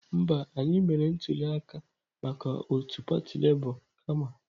Mba, anyị mere ntuli aka maka otu pati Labour kama.